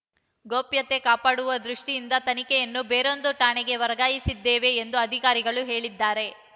ಗೋಪ್ಯತೆ ಕಾಪಾಡುವ ದೃಷ್ಟಿಯಿಂದ ತನಿಖೆಯನ್ನು ಬೇರೊಂದು ಠಾಣೆಗೆ ವರ್ಗಾಯಿಸಿದ್ದೇವೆ ಎಂದು ಅಧಿಕಾರಿಗಳು ಹೇಳಿದ್ದಾರೆ